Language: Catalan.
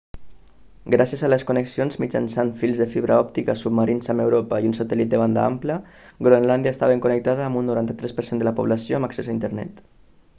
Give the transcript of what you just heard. gràcies a les connexions mitjançant fils de fibra òptica submarins amb europa i un satèl·lit de banda ampla groenlàndia està ben connectada amb un 93 % de la població amb accés a internet